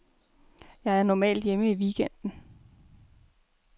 Jeg er normalt hjemme i weekenden.